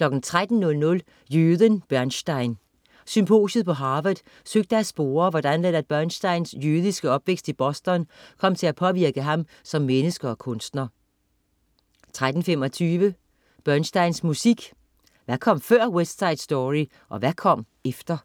13.00 Jøden Bernstein. Symposiet på Harvard søgte at spore, hvordan Leonard Bernsteins jødiske opvækst i Boston kom til at påvirke ham som menneske og kunstner 13.25 Bernsteins musik. Hvad kom før "West Side Story", og hvad kom efter?